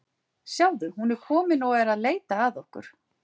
Sjáðu, hún er komin og er að leita að okkur.